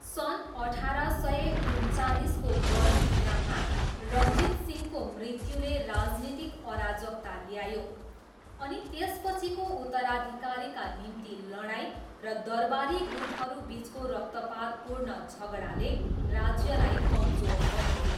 सन् अठार सय उन्चालिसको गर्मी याममा रणजीतसिंहको मृत्युले राजनीतिक अराजकता ल्यायो, अनि त्यसपछिको उत्तराधिकारका निम्ति लडाइँ र दरबारी गुटहरूबिचको रक्तपातपूर्ण झगडाले राज्यलाई कमजोर बनायो।